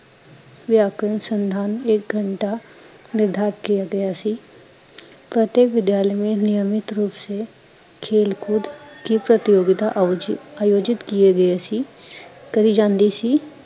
ਵਿਆਕਰਣ, ਸੰਧਾਨ ਏਕ ਘੰਟਾ, ਨਿਰਧਾਰਿਤ ਕਿਆ ਗਯਾ ਸੀ ਅਤੇ ਵਿਦਿਆਲੇ ਮੇ ਨਿਯਮਤ ਰੂਪ ਸੇ ਖੇਲ ਕੂਦ ਕੀ ਪ੍ਰਤੀਯੋਗਤਾ ਅਦਿਉਚਿਤ ਆਯੋਜਿਤ ਕੀਏ ਗਏ ਸੀ ਕਰੀ ਜਾਂਦੀ ਸੀ